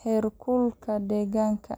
heerkulka deegaanka.